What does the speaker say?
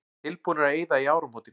Tilbúnir að eyða í áramótin